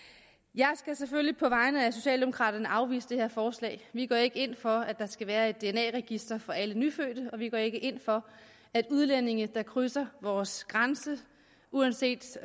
jeg skal selvfølgelig på vegne af socialdemokraterne afvise det her forslag vi går ikke ind for at der skal være et dna register for alle nyfødte og vi går ikke ind for at udlændinge der krydser vores grænse uanset